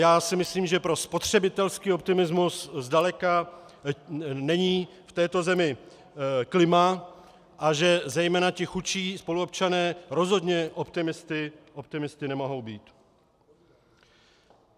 Já si myslím, že pro spotřebitelský optimismus zdaleka není v této zemi klima a že zejména ti chudší spoluobčané rozhodně optimisty nemohou být.